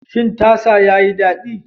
Shin tasa yayi daɗi?